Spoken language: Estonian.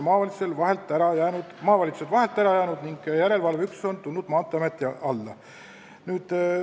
Maavalitsused on nüüd vahelt ära jäänud ning järelevalveüksus Maanteeameti alla tulnud.